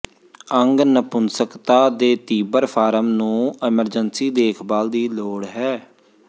ਅੰਗ ਨਪੁੰਸਕਤਾ ਦੇ ਤੀਬਰ ਫਾਰਮ ਨੂੰ ਐਮਰਜਸੀ ਦੇਖਭਾਲ ਦੀ ਲੋੜ ਹੈ